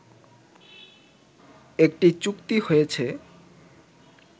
একটি চুক্তি হয়েছে